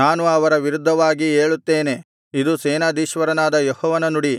ನಾನು ಅವರ ವಿರುದ್ಧವಾಗಿ ಏಳುತ್ತೇನೆ ಇದು ಸೇನಾಧೀಶ್ವರನಾದ ಯೆಹೋವನ ನುಡಿ